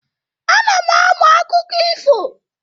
Ana m amụ akụkọ ifo.